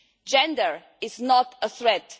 Gender is not a threat